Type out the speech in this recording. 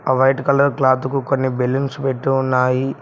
ఒక white colour cloth కు కొన్ని బెలూన్స్ పెట్టి ఉన్నాయి.